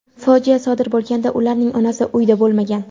Fojia sodir bo‘lganda ularning onasi uyda bo‘lmagan.